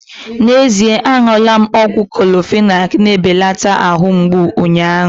N'ezie aṅụla ọgwụ Clorofenak na-ebelata ahụ mgbụ unyaahu